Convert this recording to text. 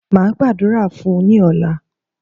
Máa Gbàdúrà fún ní ọ̀la